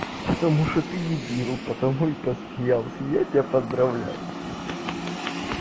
потому что ты дебил потому и посмеялся я тебя поздравляю